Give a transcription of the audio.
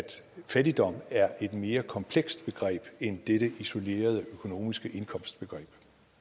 fattigdom er et mere komplekst begreb end dette isolerede økonomiske indkomstbegreb